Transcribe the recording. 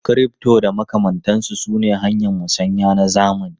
Crypto da makamantansu sune hanyoyin musanya na zamani.